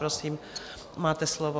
Prosím, máte slovo.